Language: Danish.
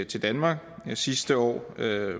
til danmark og sidste år